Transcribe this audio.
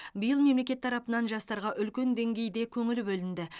биыл мемлекет тарапынан жастарға үлкен деңгейде көңіл бөлінді